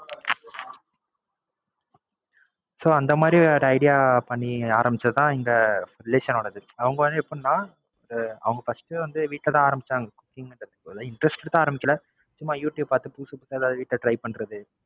So அந்த மாதிரி ஒரு Idea பண்ணி ஆரம்பிச்சது தான் இந்த Relation ஓடாது. அவுங்க வந்து எப்படின்னா அவுங்க First வந்து Weekend ஆ ஆரம்பிச்சாங்க Cooking Interested ஆலாம் ஆரம்பிக்கல. சும்மா Youtube பாத்து புதுசு புதுசா எதாவது வீட்ல Try பண்றது.